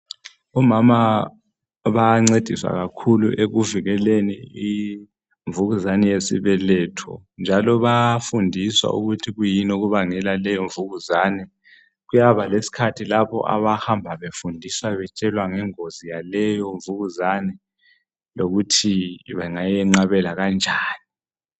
Omama bayancediswa kakhulu ekuvikeleni imvukuzane yesibeletho njalo bayafundiswa ukuthi kuyini okubangela leyo mvukuzane. Kuyaba lesikhathi lapho abahamba bayefundiswa betshelwa ngengozi yaleyo mvukuzane lokuthi bengayenqabela kanjani.